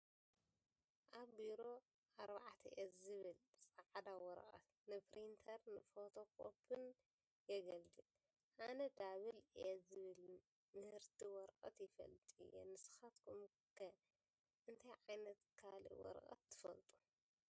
ኣብ ቢሮ A4 ዝብሃል ፃዕዳ ወረቐት ንፕሪንተርን ንፎቶ ኮፒን ይግልገሉ፡፡ ኣነ Double A ዝበሃል ምህርቲ ወረቐት ይፈልጥ እየ፡፡ ንስኻትኩም ከ እንታይ ዓይነት ካልእ ወረቐት ትፈልጡ?